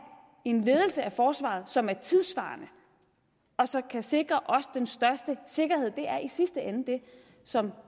en ledelse af forsvaret som er tidssvarende og som kan sikre os den største sikkerhed det er i sidste ende det som